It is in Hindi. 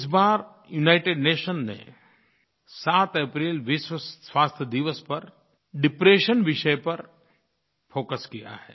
इस बार यूनाइटेड नेशंस ने 7 अप्रैल विश्व स्वास्थ्य दिवस पर डिप्रेशन विषय पर फोकस किया है